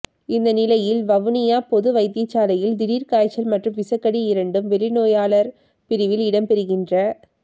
இந்நிலையில் வவுனியா பொது வைத்தியசாலையில் திடீர் காய்ச்சல் மற்றும் விசக்கடி இரண்டும் வெளிநோயாளர் பிரிவில் இடம்பெறுகின்ற